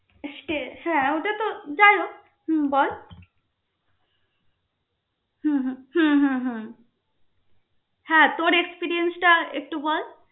Last এ হ্যা ওইটা তো যাইহোক, হম বল. হম হ্যা তোর experience টা একটু বল.